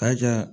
K'a kɛ